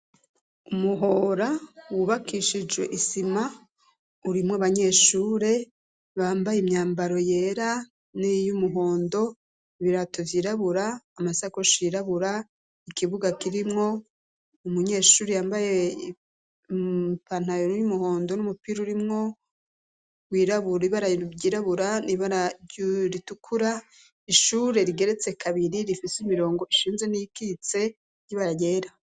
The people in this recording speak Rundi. Umuhora wubakishije isima urimwo abanyeshure bambaye imyambaro yera n'iyumuhondo, ibirato vyirabura, amasakoshi yirabura, ikibuga kirimwo umunyeshuri yambaye ipantaro y'umuhondo n'umupira urimwo wirabura, ibara ryirabura n'ibara ritukura, ishure rigeretse kabiri rifise imirongo ishinze n'iyikitse y'ibara ryera.